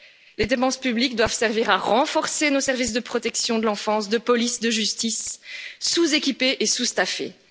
Les dépenses publiques doivent servir à renforcer nos services de protection de l'enfance, de police, de justice, sous équipés et en sous effectifs.